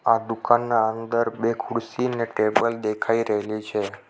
આ દુકાનના અંદર બે ખુરસી ને ટેબલ્ દેખાઈ રહેલી છે.